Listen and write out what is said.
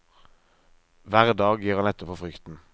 Hver dag gir han etter for frykten.